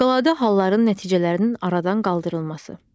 Fövqəladə halların nəticələrinin aradan qaldırılması.